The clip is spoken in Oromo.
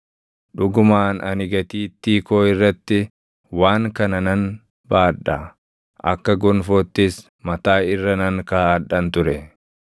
Dhugumaan ani gatiittii koo irratti waan kana nan baadha; akka gonfoottis mataa irra nan kaaʼadhan ture.